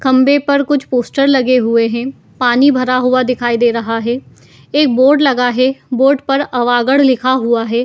खम्बे पर कुछ पोस्टर लगे हुए हैं पानी भरा हुआ दिखाई दे रहा है एक बोर्ड लगा है बोर्ड पर अवागढ़ लिखा हुआ है।